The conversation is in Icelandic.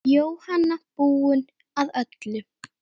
Jóhanna: Búinn að öllu?